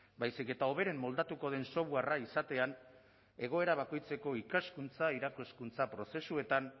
baizik eta hoberen moldatuko den softwarea izatean egoera bakoitzeko ikaskuntza irakaskuntza prozesuetan